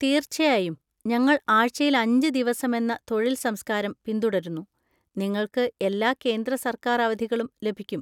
തീർച്ചയായും, ഞങ്ങൾ ആഴ്ചയിൽ അഞ്ച് ദിവസമെന്ന തൊഴിൽ സംസ്കാരം പിന്തുടരുന്നു, നിങ്ങൾക്ക് എല്ലാ കേന്ദ്ര സർക്കാർ അവധികളും ലഭിക്കും.